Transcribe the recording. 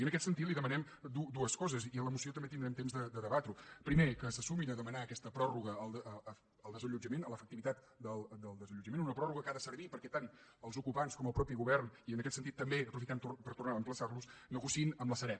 i en aquest sentit li demanem dues coses i en la moció també tindrem temps de debatre ho primer que se sumin a demanar aquesta pròrroga al desallotjament a l’efectivitat del desallotjament una pròrroga que ha de servir perquè tant els ocupants com el mateix govern i en aquest sentit també aprofitem per tornar a emplaçar los negociïn amb la sareb